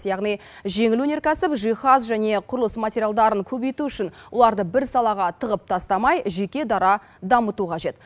яғни жеңіл өнеркәсіп жиһаз және құрылыс материалдарын көбейту үшін оларды бір салаға тығып тастамай жеке дара дамыту қажет